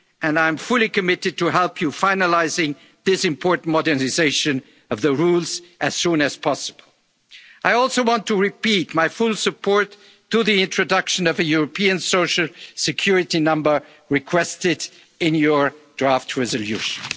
and Council. I am fully committed to help you finalising this important modernisation of the rules as soon as possible. I also want to repeat my full support for the introduction of a European social security number, requested in your